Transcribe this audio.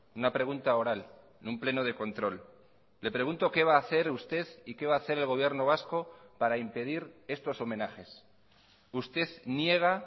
una pregunta oral en un pleno de control le pregunto qué va a hacer usted y que va a hacer el gobierno vasco para impedir estos homenajes usted niega